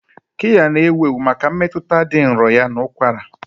Kiya na-ewu ewu maka mmetụta dị nro ya na ụkwara.